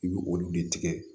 I bɛ olu de tigɛ